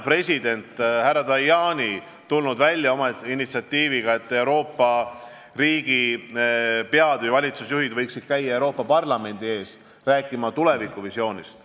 President härra Tajani on tulnud välja oma initsiatiiviga, et Euroopa riigipead ja valitsusjuhid võiksid käia Euroopa Parlamendi ees rääkimas tulevikuvisioonist.